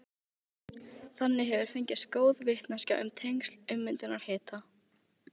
Þannig hefur fengist góð vitneskja um tengsl ummyndunar við hita.